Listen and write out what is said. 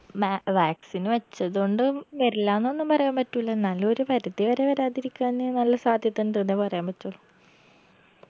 may vaccine വെച്ചത് കൊണ്ടും വെർല്ലാന്നൊന്നും പറയാൻ പറ്റൂല എന്നാലു ഒരു പരിധി വരെ വരാതിരിക്കാന് നല്ല സാധ്യത ഇണ്ട് ന്നേ പറയാൻ പറ്റുള്ളൂ